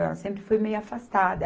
Ela sempre foi meia afastada.